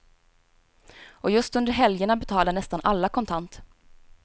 Och just under helgerna betalar nästan alla kontant.